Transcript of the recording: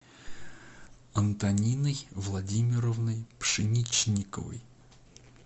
антониной владимировной пшеничниковой